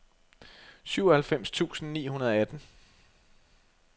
syvoghalvfems tusind ni hundrede og atten